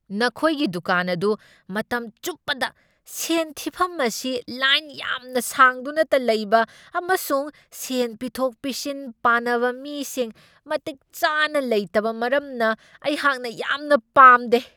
ꯅꯈꯣꯏꯒꯤ ꯗꯨꯀꯥꯟ ꯑꯗꯨ ꯃꯇꯝ ꯆꯨꯞꯄꯗ ꯁꯦꯟ ꯊꯤꯐꯝ ꯑꯁꯤ ꯂꯥꯏꯟ ꯌꯥꯝꯅ ꯁꯥꯡꯗꯨꯅꯇ ꯂꯩꯕ ꯑꯃꯁꯨꯡ ꯁꯦꯟ ꯄꯤꯊꯣꯛ ꯄꯤꯁꯤꯟ ꯄꯥꯅꯕ ꯃꯤꯁꯤꯡ ꯃꯇꯤꯛ ꯆꯥꯅ ꯂꯩꯇꯕ ꯃꯔꯝꯅ ꯑꯩꯍꯥꯛꯅ ꯌꯥꯝꯅ ꯄꯥꯝꯗꯦ꯫